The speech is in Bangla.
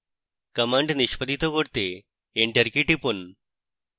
command নিষ্পাদিত করতে enter key টিপুন